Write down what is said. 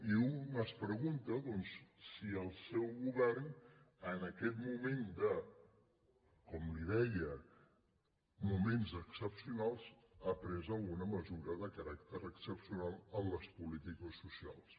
i un es pregunta si el seu govern en aquest moment de com li deia moments excepcionals ha pres alguna mesura de caràcter excepcional en les polítiques socials